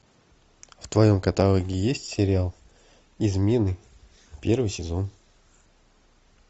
в твоем каталоге есть сериал измены первый сезон